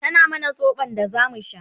tana mana sobon da zamu sha